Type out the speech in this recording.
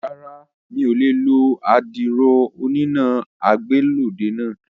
Rárá, mi ò lè lo àdìrò oníná ìgbàlódé náà